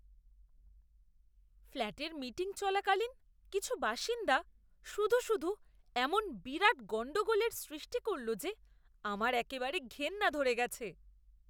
ফ্ল্যাটের মিটিং চলাকালীন কিছু বাসিন্দা শুধু শুধু এমন বিরাট গণ্ডগোলের সৃষ্টি করল যে আমার একেবারে ঘেন্না ধরে গেছে!